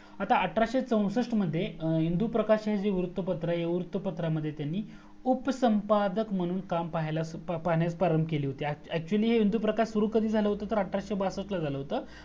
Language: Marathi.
आता अठराशे चौसस्ट मध्ये इंदु प्रकाशन हे वृत्त पत्र वृत्त पत्रामद्धे त्यांनी उपसंपादक म्हणून काम पहण्यास प्रारंभ केली होती actually हे इंदु प्रकाशन कधी सुरू झाला होतं तर अठराशे बासस्ट झालं होतं